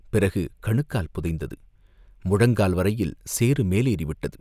பிறகு கணுக்கால் புதைந்தது, முழங்கால் வரையில் சேறு மேலேறி விட்டது!